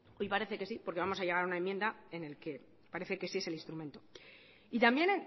y parece que sí porque vamos a llegar a una enmienda en la que parece que sí que es el instrumento y también